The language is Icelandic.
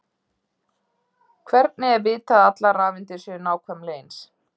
hvernig er vitað að allar rafeindir séu nákvæmlega eins